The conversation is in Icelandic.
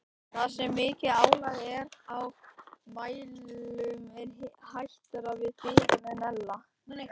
Þar sem mikið álag er á mælum er hættara við bilunum en ella.